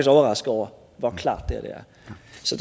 overrasket over hvor klart det her